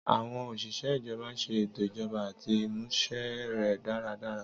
Àwọn osise ijọba ṣe ètò ijọba àti ìmúṣẹ rẹ̀ dáradára